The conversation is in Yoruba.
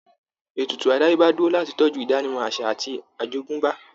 Ètùtù àdáyébá dúró láti tọ́jú ìdánimọ̀ àṣà àti àjogúnbá